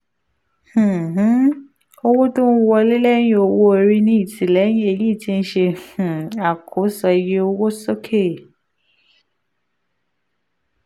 um um owó-tó-ń-wọlé lẹ́yìn-owó-orí ní ìtìlẹyìn èyí ti ṣe um àkóso iye owó sókè.